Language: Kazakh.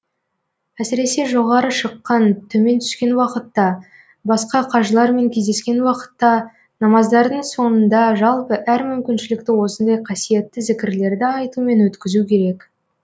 әсіресе жоғары шыққан төмен түскен уақытта басқа қажылармен кездескен уақытта намаздардың соңында жалпы әр мүмкіншілікті осындай қасиетті зікірлерді айтумен өткізу керек